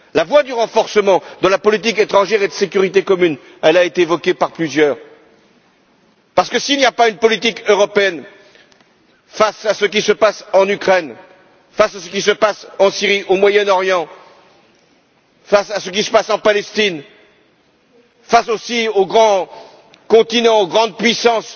La voie du renforcement de la politique étrangère et de sécurité commune a été évoquée par plusieurs orateurs parce que, s'il n'y a pas une politique européenne face à ce qui se passe en Ukraine, face à ce qui se passe en Syrie et au Moyen Orient, face à ce qui se passe en Palestine, face aussi aux grands continents, aux grandes puissances,